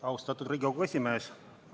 Austatud Riigikogu esimees!